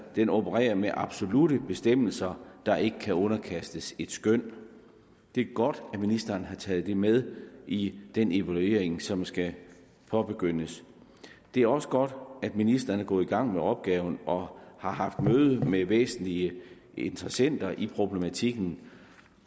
den opererer med absolutte bestemmelser der ikke kan underkastes et skøn det er godt at ministeren har taget det med i den evaluering som skal påbegyndes det er også godt at ministeren er gået i gang med opgaven og har haft møde med væsentlige interessenter i problematikken